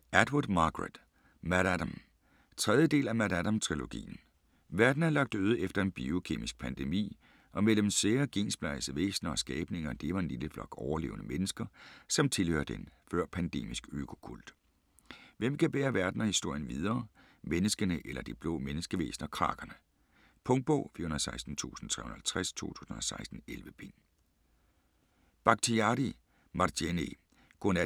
Atwood, Margaret: MaddAddam 3. del af MaddAddam-trilogien. Verden er lagt øde efter en biokemisk pandemi, og mellem sære, gensplejsede væsner og skabninger lever en lille flok overlevende mennesker, som tilhørte en før-pandemisk økokult. Hvem kan bære verden og historien videre - menneskene eller de blå menneskevæsner Crakerne? Punktbog 416350 2016. 11 bind.